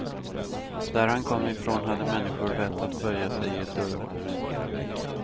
Där han kom ifrån hade människor vett att böja sig i ett dörrhål.